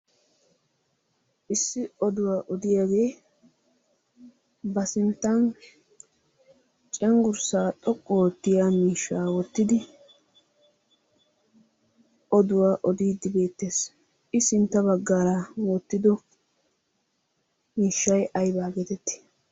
Issi oduwa odiyaagee ba sinttan cenggurssa xoqqu oottiyaa miishsha wottidi oduwaa oodidde beettees. I sintta baggan wottido miishshay aybba getetti?